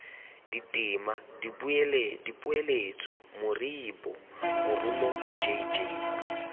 ditema dipoeletso moribo morumo jj